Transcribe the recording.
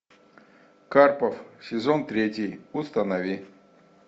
карпов сезон третий установи